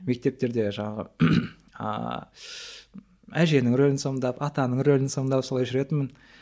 мектептерді жаңағы ааа әженің рөлін сомдап атаның рөлін сомдап солай жүретінмін